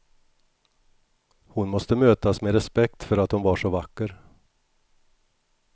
Hon måste mötas med respekt för att hon var så vacker.